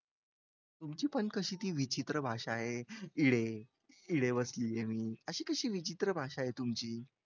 तुमची पण कशी ती विचित्र भाषा आहे इडे इडे बसलीय मी अशी कशी विचित्र भाषा आहे तुमची?